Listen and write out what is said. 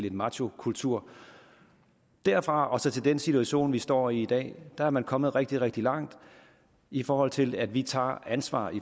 en machokultur derfra og så til den situation vi står i dag er man kommet rigtig rigtig langt i forhold til at vi tager ansvar